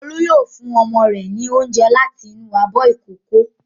Olú yóò fún ọmọ rẹ̀ ní oúnjẹ láti inú abọ́ ìkókó.